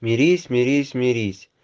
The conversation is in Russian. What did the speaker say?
мирись мирись мирись